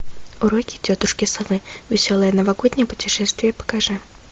уроки тетушки совы веселое новогоднее путешествие покажи